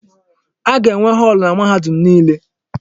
A ga-enwe họọlụ na mahadum niile.